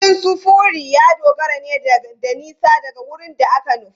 Kudin sufuri ya dogara ne da nisa daga wurin da aka nufa.